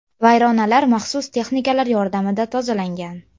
Vayronalar maxsus texnikalar yordamida tozalangan.